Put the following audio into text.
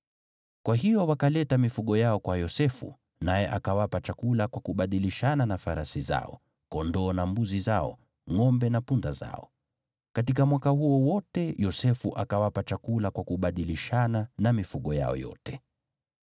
Kwa hiyo wakaleta mifugo yao kwa Yosefu, naye akawapa chakula kwa kubadilishana na farasi zao, kondoo na mbuzi zao, ngʼombe na punda zao. Katika mwaka huo wote Yosefu akawapa chakula kwa kubadilishana na mifugo yao yote.